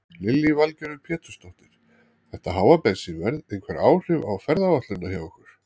Lillý Valgerður Pétursdóttir: Þetta háa bensínverð einhver áhrif á ferðaáætlunina hjá ykkur?